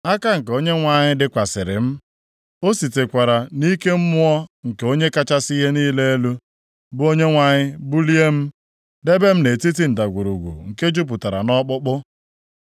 Aka nke Onyenwe anyị dịkwasịrị m, o sitekwara nʼike Mmụọ nke Onye kachasị ihe niile elu, bụ Onyenwe anyị bulie m, debe m nʼetiti ndagwurugwu nke jupụtara nʼọkpụkpụ.